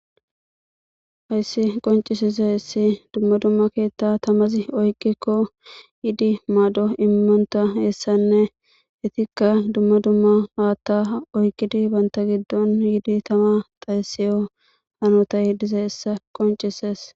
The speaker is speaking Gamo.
Hayssi qoncisiza issi dumma dumma keetta tamazi oyqikko yiidi maaddo immonta heessanne hetikka dumma dumma haatta oyqidi banta giddon yiidi tama xayseyo hanota hidiza hessa qoncises.